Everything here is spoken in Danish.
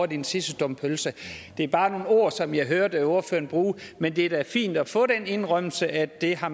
den sidste stump pølse det er bare nogle ord som jeg hørte ordføreren bruge men det er da fint at få den indrømmelse at det har